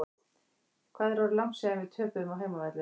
Hvað er orðið langt síðan við töpuðum á heimavelli?